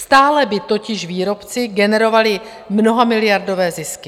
Stále by totiž výrobci generovali mnohamiliardové zisky.